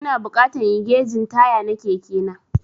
Ina bukatan inyi gegin taya na Keke na.